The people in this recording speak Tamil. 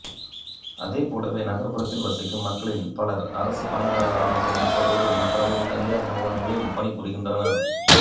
அதேபோல நகர்ப்புறத்தில் வசிக்கும் மக்களில் பலர் அரசு பணியாளர்களாக இருப்பதோடு மற்றவர்கள் தனியார் நிறுவனங்களிலும் பணி புரிகின்றனர்